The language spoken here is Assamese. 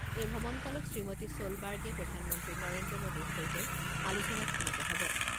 এই ভ্ৰমণকালত শ্ৰীমতী ছ'লবাৰ্গে প্ৰধানমন্ত্ৰী নৰেন্দ্ৰ মোডীৰ সৈতে আলোচনাত মিলিত হ'ব।